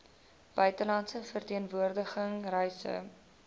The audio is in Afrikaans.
buitelandse verteenwoordiging reise